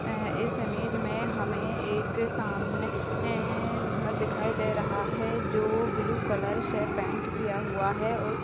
अह इस इमेज मे हमे एक सामने मे घर दिखाई दे रहा है जो ब्लू कलर से पेंट किया हुआ है और --